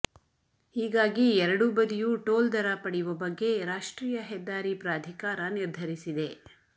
ಹೀಗಾಗಿ ಎರಡೂ ಬದಿಯೂ ಟೋಲ್ ದರ ಪಡೆಯುವ ಬಗ್ಗೆ ರಾಷ್ಟ್ರೀಯ ಹೆದ್ದಾರಿ ಪ್ರಾಧಿಕಾರ ನಿರ್ಧರಿಸಿದೆ